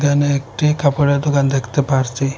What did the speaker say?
এখানে একটি কাপড়ের দোকান দেখতে পারছি।